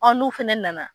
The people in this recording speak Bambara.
n'u fɛnɛ nana